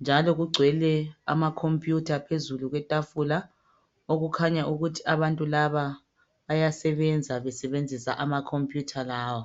njalo kugcwele ama computer phezulu kwetafula okukhanya ukuthi abantu laba bayasebenza, besebenzisa ama computer lawa.